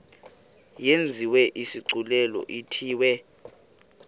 yenziwe isigculelo ithiwe